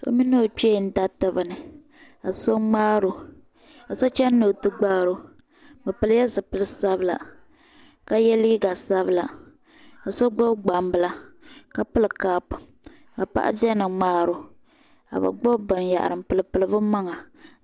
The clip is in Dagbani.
So mini ɔ kpee n dariti bini, kaso mŋaarɔ, kaso chani ni ɔti gbaari, bɛ pili ya zi pili sabila ka ye liiga sabila ka so gbubi gban bila, ka pili kap ka beni n mŋaaro ka bɛ gbubi bɛn yahiri npili pili bɛ maŋa